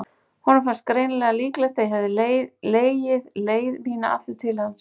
Honum fannst greinilega líklegt að ég legði leið mína aftur til hans.